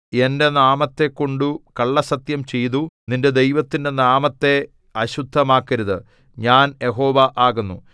എന്റെ നാമത്തെക്കൊണ്ടു കള്ളസ്സത്യം ചെയ്തു നിന്റെ ദൈവത്തിന്റെ നാമത്തെ അശുദ്ധമാക്കരുത് ഞാൻ യഹോവ ആകുന്നു